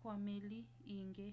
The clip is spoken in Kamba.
kwa meli iingî